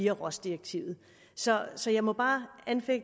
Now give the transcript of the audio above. af rohs direktivet så så jeg må bare